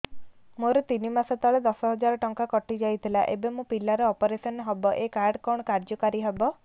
ମୋର ତିନି ମାସ ତଳେ ଦଶ ହଜାର ଟଙ୍କା କଟି ଯାଇଥିଲା ଏବେ ମୋ ପିଲା ର ଅପେରସନ ହବ ଏ କାର୍ଡ କଣ କାର୍ଯ୍ୟ କାରି ହବ